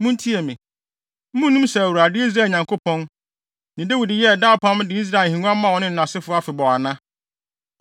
Munnim sɛ Awurade, Israel Nyankopɔn, ne Dawid yɛɛ daa apam de Israel ahengua maa ɔne nʼasefo afebɔɔ ana?